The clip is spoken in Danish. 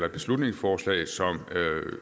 et beslutningsforslag som